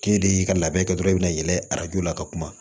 K'e de y'i ka labɛn kɛ dɔrɔn i bɛna yɛlɛ arajo la ka kuma